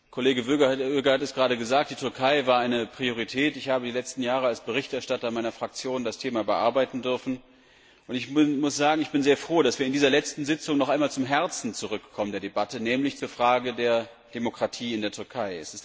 Kollege Öger hat es gerade gesagt, die Türkei war eine Priorität. Ich habe die letzten Jahre als Berichterstatter meiner Fraktion das Thema bearbeiten dürfen und ich muss sagen, ich bin sehr froh, dass wir in dieser letzten Sitzung noch einmal zum Herzen der Debatte zurückkommen, nämlich zur Frage der Demokratie in der Türkei.